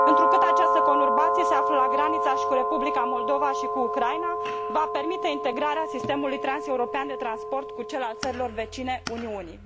Întrucât această conurbație se află la granița cu Republica Moldova și cu Ucraina, va permite integrarea sistemului transeuropean de transport cu cel al țărilor vecine Uniunii.